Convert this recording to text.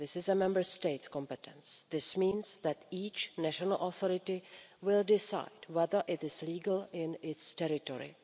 This is a Member State competence, which means that each national authority will decide whether it is legal in its territory.